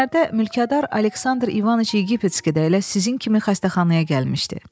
Bugünlərdə mülkədar Aleksandr İvaniç Yegiptski də elə sizin kimi xəstəxanaya gəlmişdi.